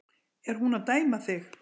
Er hún að dæma þig?